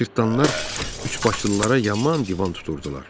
Cırtdanlar üçbaşlılara yaman divan tuturdular.